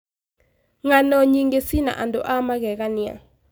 Ng'ano nyingĩ cina andũ a magegania.